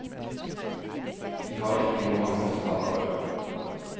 De har ikke noe annet talerør.